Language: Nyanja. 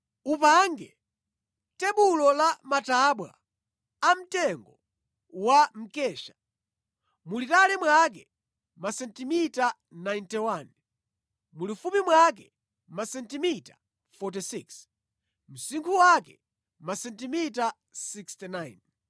“Upange tebulo la matabwa amtengo wa mkesha, mulitali mwake masentimita 91, mulifupi mwake masentimita 46, msinkhu wake masentimita 69.